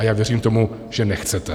A já věřím tomu, že nechcete.